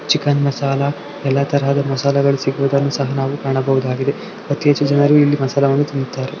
Chicken masala ಎಲ್ಲ ತರಹದ ಮಸಾಲೆಗಳು ಸಿಗೋದವುದನ್ನು ಸಹ ನಾವು ಕಾಣಬಹುದಾಗಿದೆ ಅತಿ ಹೆಚ್ಚು ಜನರು ಇಲ್ಲಿ ಮಸಾಲಾ ವನ್ನು ತಿನ್ನುತ್ತಾರೆ.